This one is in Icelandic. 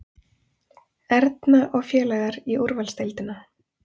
Erna og félagar í úrvalsdeildina